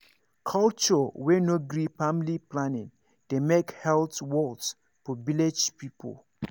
culture wey no gree family planning dey make health worse for village people